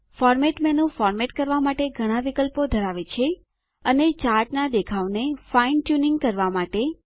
format મેનું format કરવા માટે ઘણા વિકલ્પો ધરાવે છે અને ચાર્ટનાં દેખાવને ફાઈન ટ્યુનિંગ ઝીણવટ લય કરવા માટે